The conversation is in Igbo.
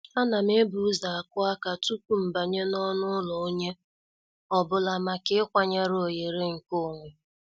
A nam ebu ụzọ akụ aka tupu mbanye n'ọnụ ụlọ onye ọ bụla maka ịkwanyere oghere nke onwe.